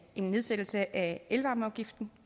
en nedsættelse af elvarmeafgiften